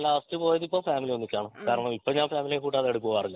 ഞാൻ ലാസ്റ്റ് പോയത് ഇതിപ്പോ ഫാമിലി ഒന്നിച്ചാണ് കാരണം ഇപ്പൊ ഞാൻ ഫാമിലിയെ കൂട്ടാതെ എവിടേം പോകാറില്ല